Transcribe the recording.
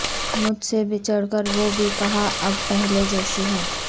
مجھ سے بچھڑ کر وہ بھی کہاں اب پہلے جیسی ہے